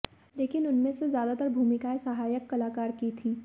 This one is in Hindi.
लेकिन उनमें से ज्यादातर भूमिकाएं सहायक कलाकार की थी